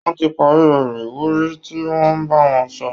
Wọ́n ti parí ọ̀rọ̀ ìwúrí tí wọ́n ń bá wọn sọ